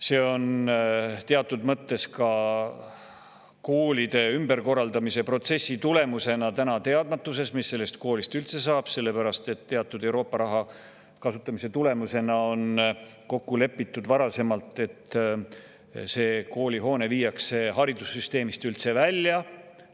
See on teatud mõttes ka koolide ümberkorraldamise protsessi tulemus, et seal ollakse teadmatuses, mis sellest koolist edasi saab, sellepärast et Euroopa raha kasutamise kohta on varasemalt kokku lepitud, et see koolihoone viiakse haridussüsteemist üldse välja.